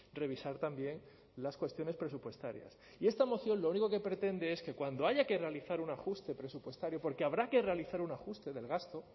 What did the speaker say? revisar también las cuestiones presupuestarias y esta moción lo único que pretende es que cuando haya que realizar un ajuste presupuestario porque habrá que realizar un ajuste del gasto